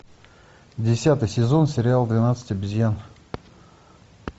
десятый сезон сериал двенадцать обезьян